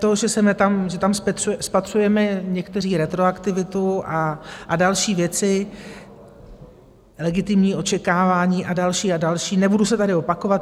To, že tam spatřujeme někteří retroaktivitu a další věci, legitimní očekávání a další a další, nebudu se tady opakovat.